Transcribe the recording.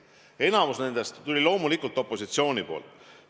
Enamik nendest tuli loomulikult opositsioonilt.